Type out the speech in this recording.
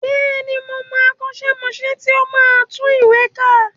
Bẹ́ẹ̀ni, mo mọ akọ́ṣẹ́mọṣẹ́ tí ó máa ń tún ìwé kà